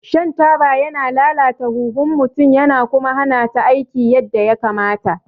Shan taba yana lalata huhun mutum ya kuma hana ta aiki yadda ya kamata